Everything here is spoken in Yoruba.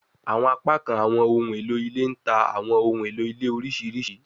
Awọn apakan awọn ohun elo ile n ta awọn ohun elo ile oriṣiriṣi